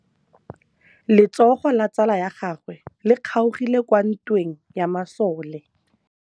Letsôgô la tsala ya gagwe le kgaogile kwa ntweng ya masole.